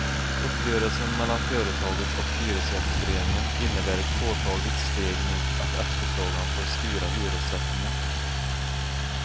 Uppgörelsen mellan företaget och hyresgästföreningen innebär ett påtagligt steg mot att efterfrågan får styra hyressättningen.